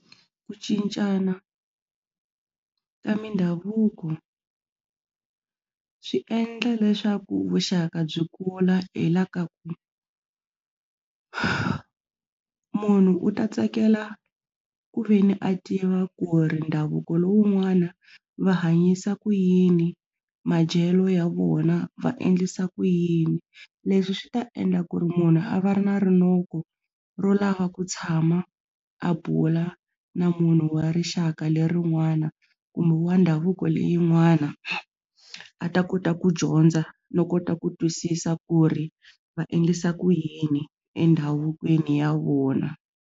Ku cincana ka mindhavuko swi endla leswaku vuxaka byi kula hi la ka ku munhu u ta tsakela ku veni a tiva ku ri ndhavuko lowun'wana va hanyisa ku yini madyelo ya vona va endlisa ku yini leswi swi ta endla ku ri munhu a va ri na rinoko ro lava ku tshama a bula na munhu wa rixaka lerin'wana kumbe wa ndhavuko leyin'wana a ta kota ku dyondza no kota ku twisisa ku ri va endlisa ku yini endhavukweni ya vona.